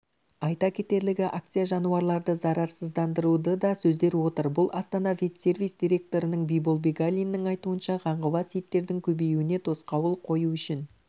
айта кетерлігі акция жануарларды зарарсыздандыруды да сөздер отыр бұл астана ветсервис директорының бибол бегалинның айтуынша қаңғыбас иттердің көбеюіне тосқауыл қою үшін